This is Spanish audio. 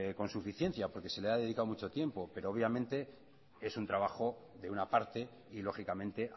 con suficiencia porque se le ha dedicado mucho tiempo pero obviamente es un trabajo de una parte y lógicamente